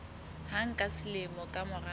hang ka selemo ka mora